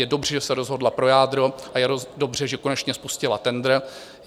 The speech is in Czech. Je dobře, že se rozhodla pro jádro, a je dobře, že konečně spustila tendr.